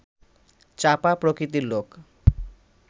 চাপা প্রকৃতির লোক